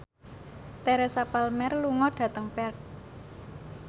Teresa Palmer lunga dhateng Perth